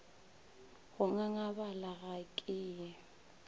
go ngangabala ga ke ye